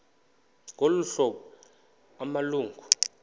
ngolu hlobo amalungu